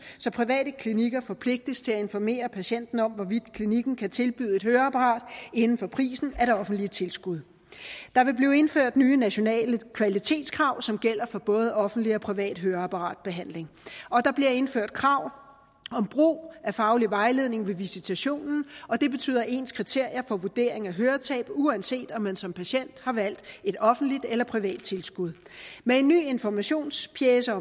så private klinikker forpligtes til at informere patienten om hvorvidt klinikken kan tilbyde et høreapparat inden for prisen af det offentlige tilskud der vil blive indført nye nationale kvalitetskrav som gælder for både offentlig og privat høreapparatbehandling og der bliver indført krav om brug af faglig vejledning ved visitationen og det betyder ens kriterier for vurdering af høretab uanset om man som patient har valgt et offentligt eller privat tilskud med en ny informationspjece